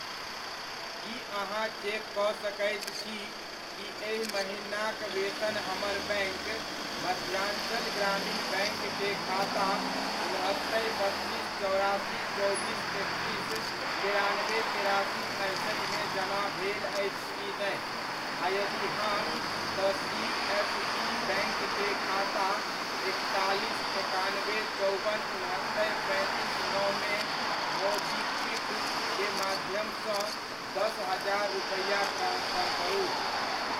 की अहाँ चेक कऽ सकैत छी कि एहि महिनाक वेतन हमर बैङ्क मध्याञ्चल ग्रामीण बैङ्क के खाता उनहत्तरि, बत्तीस, चौरासी, चौबीस, एकतीस, तेरानबे, तेरासी, अड़सठिमे जमा भेल अछि की नहि, आ यदि हाँ, तऽ सी एस बी बैंङ्क के खाता एकतालीस, एकानबे, चौबन, उनहत्तरि, पैंतीस, नओमे मोबीक्विक क माध्यम सँ दस हजार रुपैआ ट्रांसफर करू ?